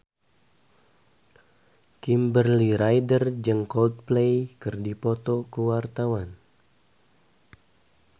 Kimberly Ryder jeung Coldplay keur dipoto ku wartawan